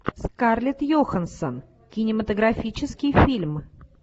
скарлетт йоханссон кинематографический фильм